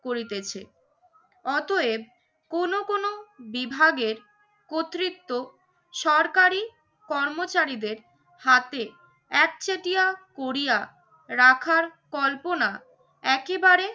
করিতেছে। অতএব কোন কোন বিভাগের কতৃত্ব সরকারি কর্মচারীদের হাতে একচেটিয়া করিয়া রাখার কল্পনা একেবারে